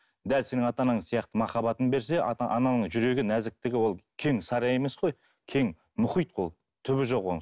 дәл сенің ата анаң сияқты махаббатын берсе ата анаңның жүрегі нәзіктігі ол кең сарай емес қой кең мұхит ол түбі жоқ оның